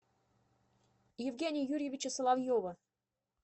евгения юрьевича соловьева